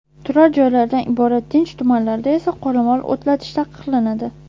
Turar joylardan iborat tinch tumanlarda esa qoramol o‘tlatish taqiqlanadi.